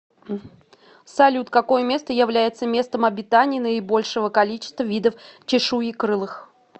салют какое место является местом обитания наибольшего количества видов чешуекрылых